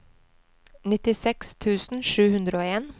nittiseks tusen sju hundre og en